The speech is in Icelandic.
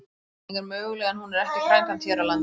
Bólusetning er möguleg en hún er ekki framkvæmd hér á landi.